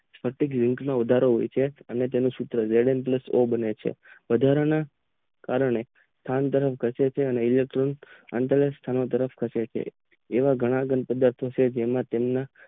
એક માં વધારો હોવાથી અને તેમાંથી અને બને વાથરાના કારણ કે કામ કરવા ઘટે છે અત્રેને અને પરોક્ષ ઘટે છે આવા ઘણા જેમના તેમના